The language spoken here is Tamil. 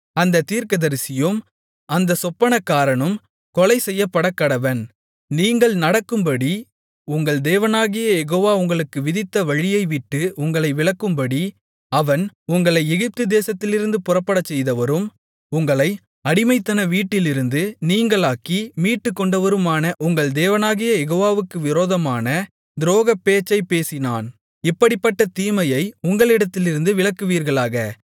அந்தத் தீர்க்கதரிசியும் அந்தச் சொப்பனக்காரனும் கொலைசெய்யப்படக்கடவன் நீங்கள் நடக்கும்படி உங்கள் தேவனாகிய யெகோவா உங்களுக்கு விதித்த வழியைவிட்டு உங்களை விலக்கும்படி அவன் உங்களை எகிப்துதேசத்திலிருந்து புறப்படச்செய்தவரும் உங்களை அடிமைத்தன வீட்டிலிருந்து நீங்கலாக்கி மீட்டுக்கொண்டவருமான உங்கள் தேவனாகிய யெகோவாவுக்கு விரோதமான துரோகப்பேச்சைப் பேசினான் இப்படிப்பட்ட தீமையை உங்களிடத்திலிருந்து விலக்குவீர்களாக